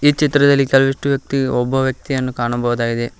ಈ ಚಿತ್ರದಲ್ಲಿ ಕೇಲವಿಷ್ಟು ವ್ಯಕ್ತಿ ಒಬ್ಬ ವ್ಯಕ್ತಿಯನ್ನು ಕಾಣಬಹುದಾಗಿದೆ.